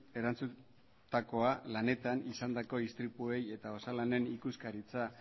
erantzundakoa lanetan izandako istripuei eta osalanen ikuskaritza